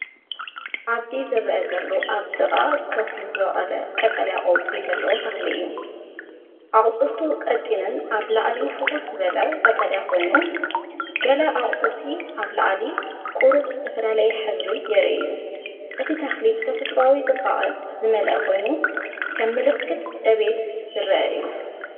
ኣብዚ ዝርአ ዘሎ ኣብ ጥቓ ከውሒ ዝበቖለ ቀጠልያ ቆጽሊ ዘለዎ ተኽሊ እዩ። ኣቝጽልቱ ቀጢንን ኣብ ላዕሊፍኹስ ዝበለ ቀጠልያን ኮይኑ፡ገለ ኣቝጽልቲ ኣብ ላዕሊ ቁሩብ ዝተፈላለየ ሕብሪ የርእዩ፡ እቲ ተኽሊ ብተፈጥሮኣዊ ጽባቐ ዝመልአ ኮይኑ፡ከም ምልክት ዕብየት ዝረአ እዩ።